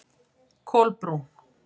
Kolbrún